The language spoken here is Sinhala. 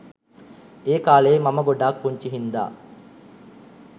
ඒකාලේ මම ගොඩක් පුංචි හින්දා